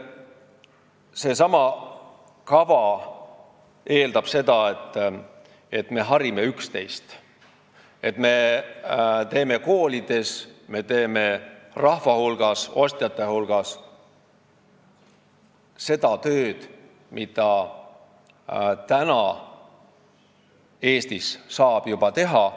Seesama kava eeldab, et me harime üksteist, me teeme koolides, rahva ja ostjate hulgas seda tööd, mida saab juba praegu Eestis teha.